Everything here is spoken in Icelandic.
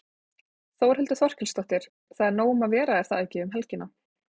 Þórhildur Þorkelsdóttir: Það er nóg um að vera er það ekki um helgina?